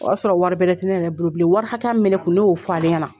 O y'a sɔrɔ wari bɛrɛ tɛ ne bolo bilen wari hakɛya min bɛ ne kun ne y'o fɔ ale ɲɛna